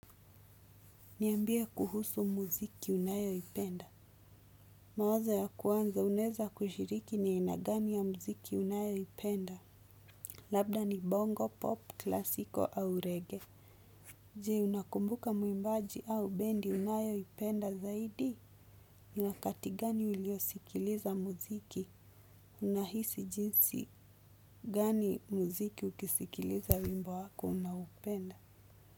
Niambie kuhusu muziki unayo ipenda. Mawazo ya ku anza unaeza kushiriki ni aina gani ya muziki unayo ipenda. Labda ni bongo, pop, classical au reggae. Je, unakumbuka muimbaji au bendi unayo ipenda zaidi. Ni wakati gani uliosikiliza muziki, unahisi jinsi gani muziki ukisikiliza wimbo wako unaoupenda.